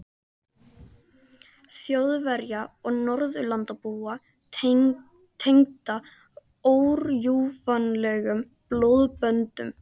Þjóðverja og Norðurlandabúa tengda órjúfanlegum blóðböndum